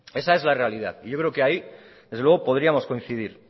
esa es la realidad y yo creo que ahí desde luego podíamos coincidir